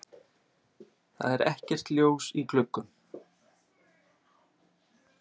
Það er ekkert ljós í gluggum.